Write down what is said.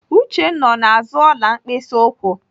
Uchenna ọ na-azụ ọla mkpịsị ụkwụ?